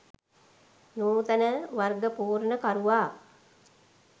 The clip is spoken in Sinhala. නූතන වර්ගපූර්ණකරුවා